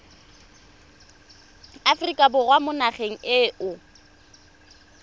aforika borwa mo nageng eo